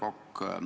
Härra Kokk!